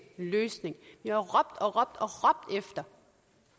løses i eu regi